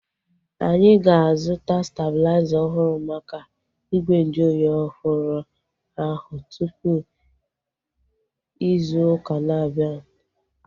Anyị ga-azuta stebulaiza ọhụrụ maka igwe nju oyi ọhụrụ ahu tupu ịzụ ụka na-abianu